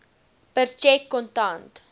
per tjek kontant